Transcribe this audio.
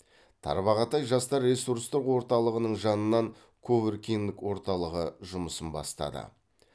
тарбағатай жастар ресурстық орталығының жанынан ковуркинг орталығы жұмысын бастады